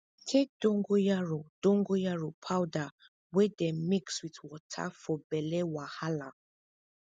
take dongoyaro dongoyaro powder wey dem mix with water for belle wahala